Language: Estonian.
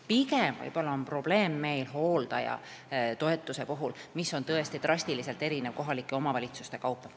Pigem on meil probleeme hooldajatoetusega, mis tõesti kohalikes omavalitsustes drastiliselt erineb.